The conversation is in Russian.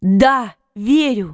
да верю